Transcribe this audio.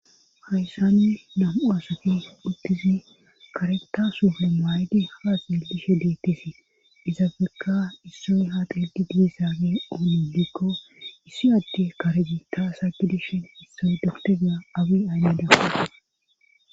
hayssanne nam7u asoki uddizi kare ta suple maaydi ha xeelishe deettisi izafeka issoy ha xedi diisaage oolilekko issi adde karegi ta asa gidishin issoy doktega abi aneeda